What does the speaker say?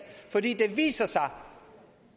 fordi det viser sig